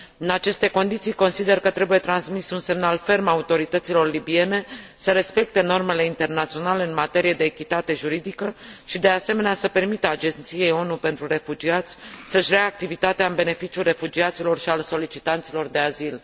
În aceste condiții, consider că trebuie transmis un semnal ferm autorităților libiene să respecte normele internaționale în materie de echitate juridică și, de asemenea, să permită Agenției ONU pentru refugiați să își reia activitatea în beneficiul refugiaților și al solicitanților de azil.